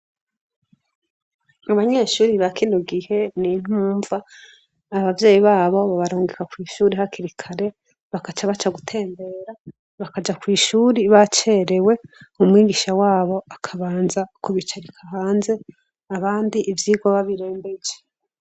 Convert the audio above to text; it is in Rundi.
Abanyeshuri bakinugihe n’intumva abavyeyi babo babarongeka kw'ishuri hakirikare bakaca baca gutembera bakaja kw'ishuri bacerewe umwigisha wabo akabanza kubicarika hanze abandi ivyirwa babirembeje.